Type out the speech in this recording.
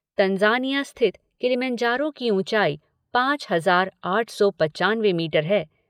Tanzania स्थित Kilimanjaro की ऊंचाई पांच हजार आठ सौ पंचानवे मीटर है।